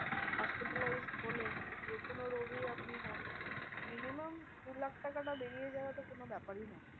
Hospitalized হলে যেকোনো রোগই আপনি হোন, minimum দু লাখ টাকাটা বেরিয়ে যাওয়া তো কোনো ব্যাপারই নয়।